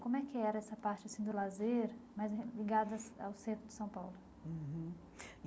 Como é que era essa parte assim do lazer mais re ligadas ao centro de São Paulo? Uhum